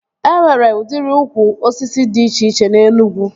E nwere udiri ukwu osisi dị iche na Enugwu